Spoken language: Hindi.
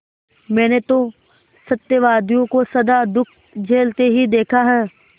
मैंने तो सत्यवादियों को सदा दुःख झेलते ही देखा है